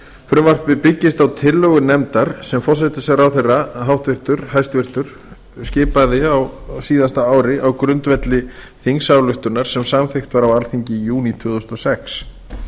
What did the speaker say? frumvarpið byggist á tillögum nefndar sem forsætisráðherra skipaði á síðasta ári á grundvelli þingsályktunar sem samþykkt var á alþingi í júní tvö þúsund og sex